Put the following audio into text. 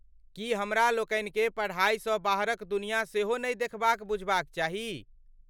की हमरा लोकनिकेँ पढाईसँ बाहरक दुनिया सेहो नहि देखबाक बुझबाक चाही ?